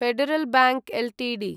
federal Bank Ltd